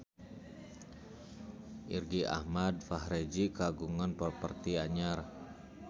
Irgi Ahmad Fahrezi kagungan properti anyar